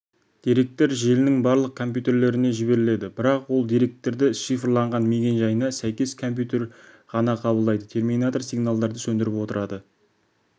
деректер желінің барлық компьютерлеріне жіберіледі бірақ ол деректерді шифрланған мекен-жайына сәйкес компьютер ғана қабылдайды терминатор сигналдарды сөндіріп отырады